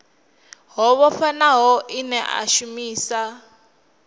ho vhofhanaho ine a shumisa